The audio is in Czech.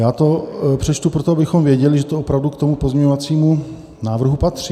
Já to přečtu proto, abychom věděli, že to opravdu k tomu pozměňovacímu návrhu patří.